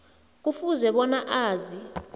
kufuze bona azi